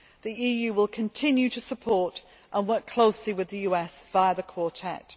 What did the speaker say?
The EU will continue to support and work closely with the US via the Quartet.